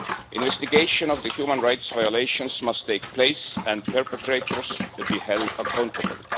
Investigation of the human rights violations must take place and perpetrators must be held accountable.